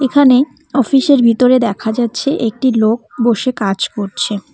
এখানে অফিসের -এর ভিতরে দেখা যাচ্ছে একটি লোক বসে কাজ করছে।